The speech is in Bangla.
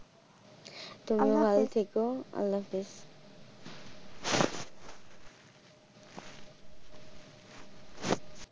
তুমি ও ভালো থেকো, আল্লাহ হাফিজ।